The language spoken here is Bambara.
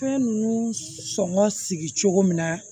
Fɛn ninnu sɔngɔ sigi cogo min na